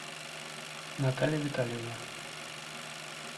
наталья витальевна